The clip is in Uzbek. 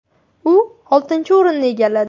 U oltinchi o‘rinni egalladi.